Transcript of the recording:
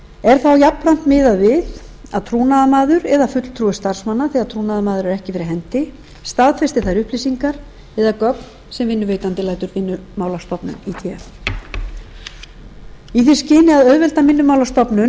er þá jafnframt miðað við að trúnaðarmaður eða fulltrúi starfsmanna þegar trúnaðarmaður er ekki fyrir hendi staðfesti þær upplýsingar eða gögn sem vinnuveitandi lætur vinnumálastofnun í té í því skyni að auðvelda